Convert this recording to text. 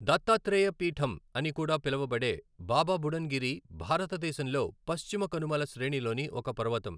దత్తాత్రేయ పీఠం అని కూడా పిలువబడే బాబా బుడన్ గిరి భారతదేశంలో పశ్చిమ కనుమల శ్రేణిలోని ఒక పర్వతం.